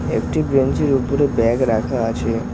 একটি বেঞ্চির ওপরে ব্যাগ রাখা আছে।